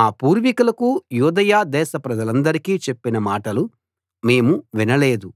మా పూర్వికులకు యూదయ దేశప్రజలందరికి చెప్పిన మాటలు మేము వినలేదు